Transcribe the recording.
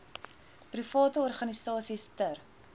private organisasies ter